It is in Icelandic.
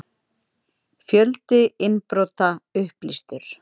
Fjöldi innbrota upplýstur